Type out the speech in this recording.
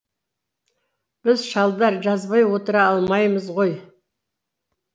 біз шалдар жазбай отыра алмаймыз ғой